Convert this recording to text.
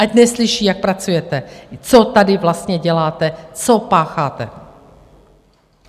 Ať neslyší, jak pracujete, co tady vlastně děláte, co pácháte!